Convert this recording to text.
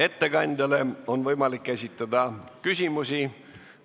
Ettekandjale on võimalik esitada küsimusi.